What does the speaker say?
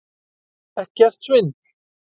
Ekkert svindl!